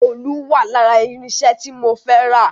Òòlù wà lára irinṣẹ́ tí mo fẹ́ rà